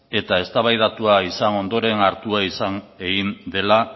eta eztabaidatua izan ondoren hartua izan egin dela